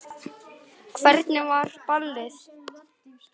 Hvernig var ballið?